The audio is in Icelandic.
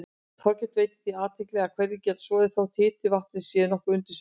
Þorkell veitti því athygli að hverir geta soðið þótt hiti vatnsins sé nokkuð undir suðumarki.